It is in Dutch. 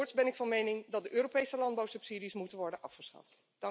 Voorts ben ik van mening dat de Europese landbouwsubsidies moeten worden afgeschaft.